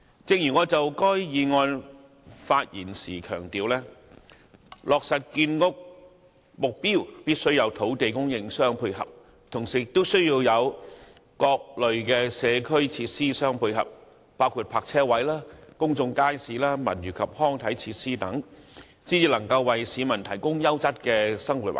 正如我發言時強調，落實建屋目標，必須有土地供應互相配合，以及各類社區設施作配套，包括泊車位、公眾街市、文娛及康體設施等，才能為市民提供優質的生活環境。